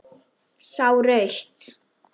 Sá rautt.